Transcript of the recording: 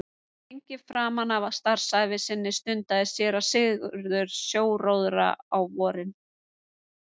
Lengi framan af starfsævi sinni stundaði séra Sigurður sjóróðra á vorin.